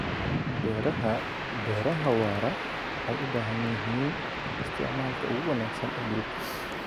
Beeraha Beeraha waara waxay u baahan yihiin isticmaalka ugu wanaagsan ee dhulka.